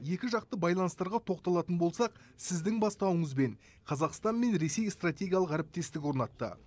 екіжақты байланыстарға тоқталатын болсақ сіздің бастауыңызбен қазақстан мен ресей стратегиялық әріптестік орнатты